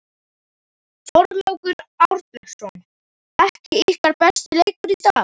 Þorlákur Árnason: Ekki ykkar besti leikur í dag?